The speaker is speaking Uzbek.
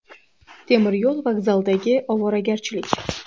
Temiryo‘l vokzalidagi ovoragarchilik.